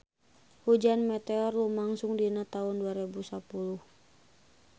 Hujan meteor lumangsung dina taun dua rebu sapuluh